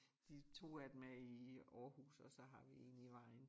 De 2 af dem er i Aarhus og så har vi én i Vejen